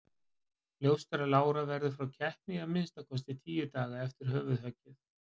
Ljóst er að Lára verður frá keppni í að minnsta kosti tíu daga eftir höfuðhöggið.